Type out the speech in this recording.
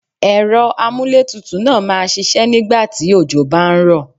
Ẹ̀rọ amúlé tutù náà máa ṣiṣẹ́ nígbà tí òjò bá ń rọ̀.